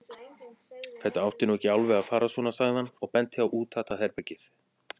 Þetta átti nú ekki alveg að fara svona, sagði hann og benti á útatað herbergið.